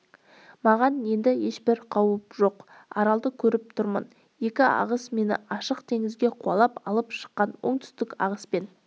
маған енді ешбір қауіп жоқ аралды көріп тұрмын екі ағыс мені ашық теңізге қуалап алып шыққан оңтүстік ағыспен